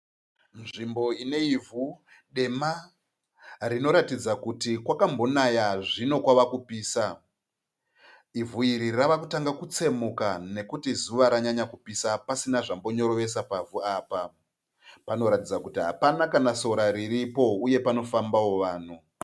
Nzvimbo ine ivhu dema rinoratidza kuti kwakambonaya zvino kwava kupisa. Ivhu iri rava kutanga kutsemuka nokuti zuva ranyanya kupisa pasina zvambonyorovesa pavhu apa. Panoratidza kuti hapana kana sora riripo uye panofambawo vanhu.